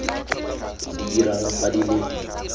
di dirang fa di le